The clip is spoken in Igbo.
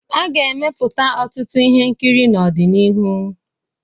A ga-emepụta ọtụtụ ihe nkiri n'ọdịnihu.